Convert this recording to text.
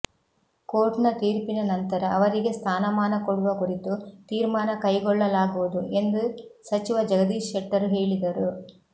ಕೋರ್ಟ್ನ ತೀರ್ಪಿನ ನಂತರ ಅವರಿಗೆ ಸ್ಥಾನಮಾನ ಕೊಡುವ ಕುರಿತು ತೀರ್ಮಾನ ಕೈಗೊಳ್ಳಲಾಗುವುದು ಎಂದು ಸಚಿವ ಜಗದೀಶ್ ಶೆಟ್ಟರ್ ಹೇಳಿದರು